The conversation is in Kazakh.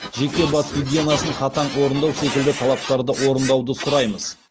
жеке бас гигиенасын қатаң орындау секілді талаптарды орындауды сұраймыз